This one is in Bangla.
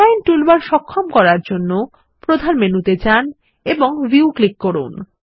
এলাইন টুলবার সক্ষম করার জন্য প্রধান মেনু তে যান এবং ভিউ ক্লিক করুন